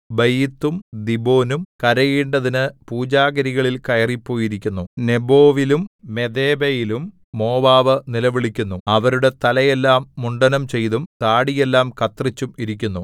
ബയീത്തും ദീബോനും കരയേണ്ടതിനു പൂജാഗിരികളിൽ കയറിപ്പോയിരിക്കുന്നു നെബോവിലും മെദേബയിലും മോവാബ് നിലവിളിക്കുന്നു അവരുടെ തലയെല്ലാം മുണ്ഡനംചെയ്തും താടിയെല്ലാം കത്രിച്ചും ഇരിക്കുന്നു